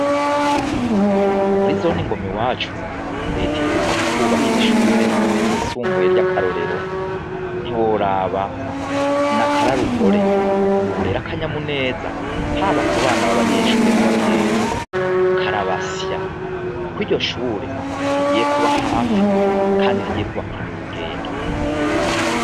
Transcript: Muri zone ngoma iwacu reta iheruka kutwubakira ishure ryisumbuye ry'akarorero, ntiworaba n'akararuhore, ubu rero akanyamuneza, haba kubana b'abanyeshure n'abavyeyi karabasya, kuko iryo shure rigiye kuba hafi kandi rigiye kubafyunira urugendo.